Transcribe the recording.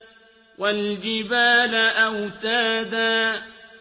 وَالْجِبَالَ أَوْتَادًا